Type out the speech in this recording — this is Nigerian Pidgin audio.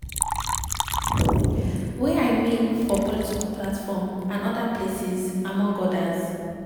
wia im make for political platform and oda places among odas.